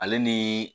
Ale ni